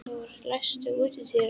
Einþór, læstu útidyrunum.